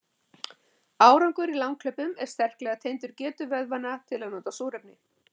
árangur í langhlaupum er sterklega tengdur getu vöðvanna til að nota súrefni